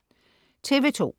TV2: